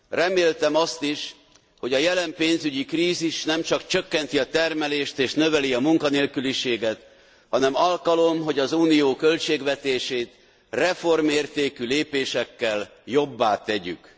Reméltem azt is, hogy a jelen pénzügyi krízis nem csak csökkenti a termelést és növeli a munkanélküliséget, hanem alkalom, hogy az Unió költségvetését reformértékű lépésekkel jobbá tegyük.